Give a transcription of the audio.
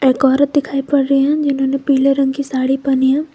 एक औरत दिखाई पड़ रही है जिन्होंने पीले रंग की साड़ी पहनी है।